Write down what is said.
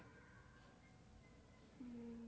હમ